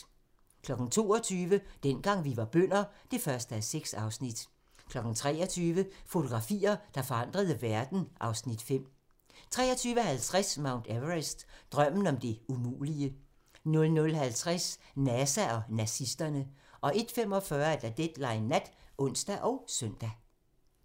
22:00: Dengang vi var bønder (1:6) 23:00: Fotografier, der forandrede verden (Afs. 5) 23:50: Mount Everest - Drømmen om det umulige 00:50: NASA og nazisterne 01:45: Deadline Nat (ons og søn)